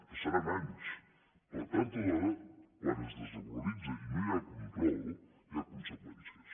passaran anys però tard o d’hora quan es desregularitza i no hi ha control hi ha conseqüències